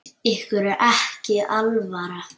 Ykkur er ekki alvara!